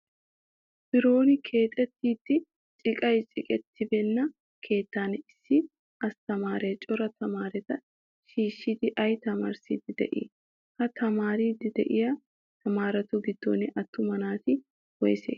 Biroon kexeettidi ciqay cadettibeenna keettan issi asttamaare cora tamaareta shiishidi ayi tamaarissiddi de'ii? Ha tamaariddi de'iyaa tamaaretu giddon attuma naati woyisee?